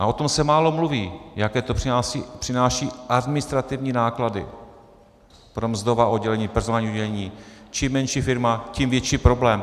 A o tom se málo mluví, jaké to přináší administrativní náklady pro mzdová oddělení, personální oddělení, čím menší firma, tím větší problém.